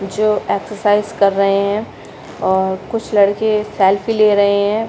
जो एक्सर्साइज़ कर रहे है और कुछ लड़के सेल्फ़ी ले रहे है।